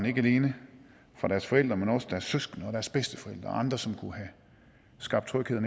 ikke alene deres forældre men også fra deres søskende og deres bedsteforældre og andre som kunne have skabt tryghed og